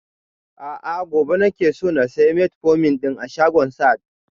A'a gobe nake so na saya metformin ɗin a shagon sahad